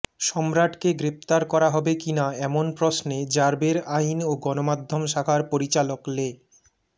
সম্রাটকে গ্রেফতার করা হবে কিনা এমন প্রশ্নে র্যাবের আইন ও গণমাধ্যম শাখার পরিচালক লে